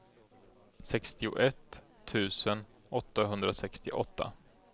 sextioett tusen åttahundrasextioåtta